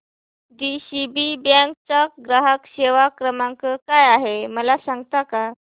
DCB bank चा ग्राहक सेवा क्रमांक काय आहे मला सांगता का